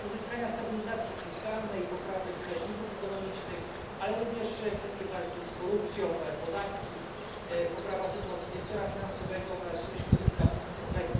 uzyskania stabilizacji fiskalnej, poprawy wskaźników ekonomicznych, ale również kwestie walki z korupcją, podatki, poprawa sytuacji sektora finansowego oraz środowiska biznesowego.